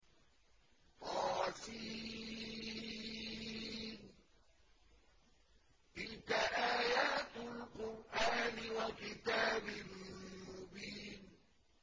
طس ۚ تِلْكَ آيَاتُ الْقُرْآنِ وَكِتَابٍ مُّبِينٍ